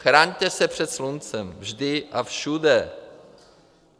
Chraňte se před sluncem - vždy a všude!